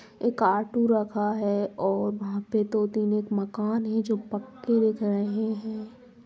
एक ऑटो रखा है और वहाँ पे दो तीन एक मकान है जो पक्के दिख रहे हैं।